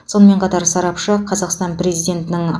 сонымен қатар сарапшы қазақстан президентінің